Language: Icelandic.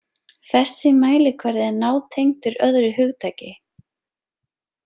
Þessi mælikvarði er nátengdur öðru hugtaki.